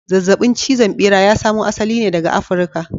Zazzabin cizon bera ya samo asali ne daga Africa.